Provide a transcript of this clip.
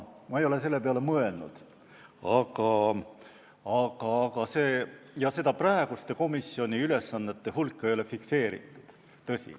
Ma ei ole selle peale mõelnud ja praeguste komisjoni ülesannete hulka seda ei ole fikseeritud.